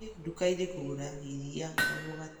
Ngĩthiĩ duka-ini kũgũra iria na mũgate